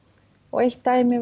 eitt dæmi